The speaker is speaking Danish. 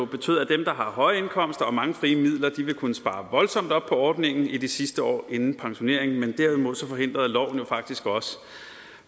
betød at dem der har høje indkomster og mange frie midler vil kunne spare voldsomt op på ordningen i de sidste år inden pensioneringen men derimod forhindrede loven faktisk også